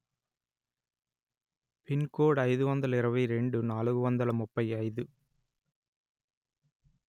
pin code అయిదు వందలు ఇరవై రెండు నాలుగు వందలు ముప్పై అయిదు